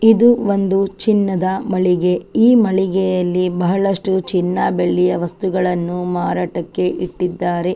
ಇದು ಒಂದು ಚಿನ್ನದ ಮಳಿಗೆ ಈ ಮಳಿಗೆಯಲ್ಲಿ ಬಹಳಷ್ಟು ಚಿನ್ನ ಬೆಳ್ಳಿಯ ವಸ್ತುಗಳನ್ನು ಮಾರಾಟಕ್ಕೆ ಇಟ್ಟಿದ್ದಾರೆ.